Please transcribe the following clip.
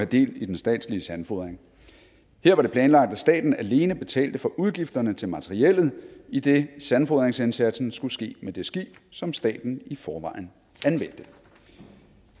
del i den statslige sandfodring her var det planlagt at staten alene betalte for udgifterne til materiellet idet sandfodringsindsatsen skulle ske med det skib som staten i forvejen anvendte